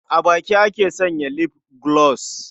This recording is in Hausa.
A baki ake sanya lif gulos.